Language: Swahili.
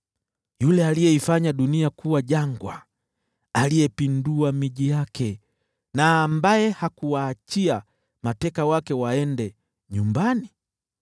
yule aliyeifanya dunia kuwa jangwa, aliyeipindua miji yake, na ambaye hakuwaachia mateka wake waende nyumbani?”